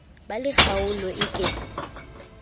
ba le kgaolo e ke